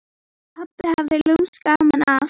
Pabbi hafði lúmskt gaman af.